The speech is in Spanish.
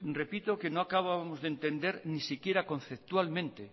repito que no acabábamos de entender ni siquiera conceptualmente